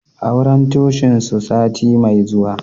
Auren Cocin su sati mai zuwa